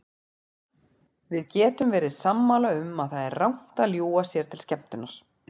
Við getum verið sammála um að það er rangt að ljúga sér til skemmtunar.